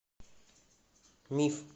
миф